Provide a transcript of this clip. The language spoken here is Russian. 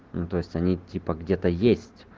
ну то есть они типа где-то есть